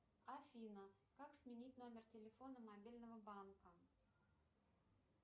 афина как сменить номер телефона мобильного банка